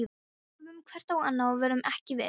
Við horfðum hvort á annað- og vorum ekki viss.